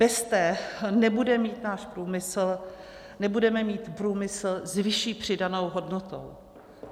Bez té nebude mít náš průmysl, nebudeme mít průmysl s vyšší přidanou hodnotou.